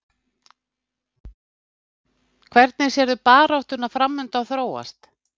Hvernig sérðu baráttuna framundan þróast?